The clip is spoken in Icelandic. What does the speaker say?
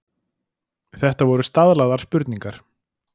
Þetta voru staðlaðar spurningar.